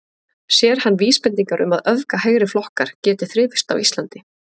Sér hann vísbendingar um að öfga hægriflokkar geti þrifist á Íslandi?